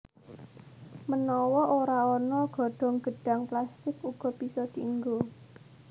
Menawa ora ana godhong gedhang plastik uga bisa dienggo